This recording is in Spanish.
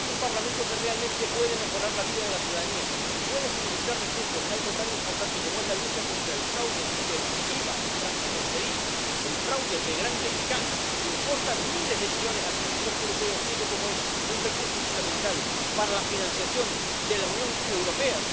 que es un Parlamento que realmente puede mejorar la vida de la ciudadanía y puede suministrar recursos en algo tan importante como es la lucha contra el fraude del IVA transfronterizo, el fraude de gran escala que importa miles de millones al presupuesto europeo, siendo como es un recurso fundamental para la financiación de la Unión Europea.